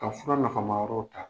Ka fura nafama yɔrɔw ta.